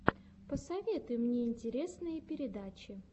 посоветуй мне интересные передачи